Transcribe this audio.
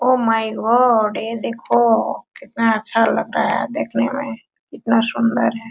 O my god ये देखो केतना अच्छा लग रहा है देखने में कितना सुंदर है।